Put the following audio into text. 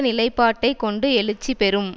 நிலைப்பாட்டை கொண்டு எழுச்சி பெறும்